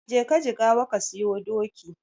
Jeka Jigawa ka siyo doki.